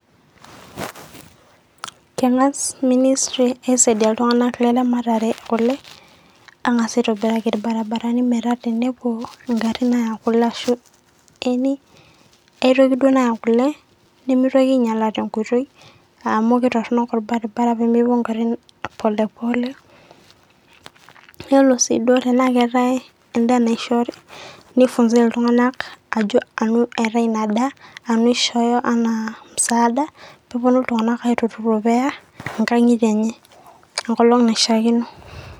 kengas ministry aisaidia iltunganak leramatare oleng angas aitobiraki irbarabarani ashu tenepuo ngarin apuo aya kule ashu eni aitoki duoo naya kule nemeitoki ainyiala tenkoitoi amu kitorono orbaribara pemepuo ngarin pole pole nelo sii duoo tenaa keetae endaa naishoori nifunzae iltunganak ajo anu eetae ina daa anu ishooyo anaa msaada ,peeponu iltunganak aitururo peya nkangitie enye enkolong naishiiakino